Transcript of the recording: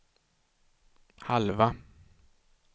halva